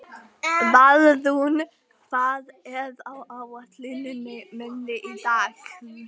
Valrún, hvað er á áætluninni minni í dag?